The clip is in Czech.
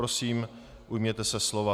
Prosím, ujměte se slova.